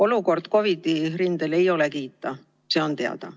Olukord COVID-i rindel ei ole kiita, see on teada.